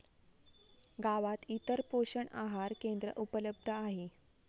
गावात इतर पोषण आहार केंद्र उपलब्ध आहे.